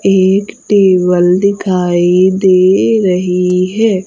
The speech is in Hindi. एक टेबल दिखाई दे रही है।